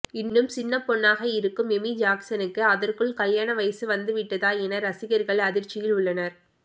இன்னும் சின்ன பொண்ணாக இருக்கும் எமி ஜாக்சனுக்கு அதற்குள் கல்யாண வயசு வந்துவிட்டதா என ரசிகர்கள் அதிர்ச்சியில் உள்ளனர்